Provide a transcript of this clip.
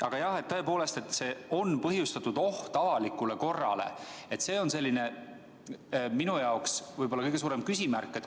Aga jah, siin on ka fraas "on põhjustatud oht avalikule korrale" – see on minu jaoks võib-olla kõige suurem küsimärk.